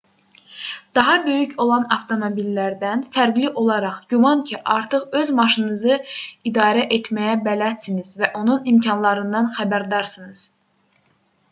daha böyük olan avtomobillərdən fərqli olaraq güman ki artıq öz maşınınızı idarə etməyə bələdsiniz və onun imkanlarından xəbərdarsınız